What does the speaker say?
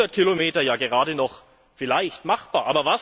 Somit sind 100 Kilometer ja gerade noch vielleicht machbar.